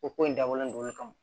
O ko in dabɔlen don o kama